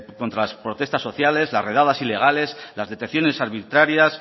contra las protestas sociales las redadas ilegales las detenciones arbitrarias